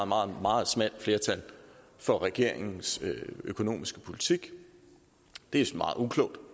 meget meget smalt flertal for regeringens økonomiske politik det er meget uklogt